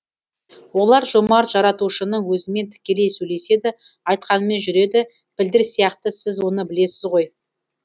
олар жомарт жаратушының өзімен тікелей сөйлеседі айтқанымен жүреді пілдер сияқты сіз оны білесіз ғой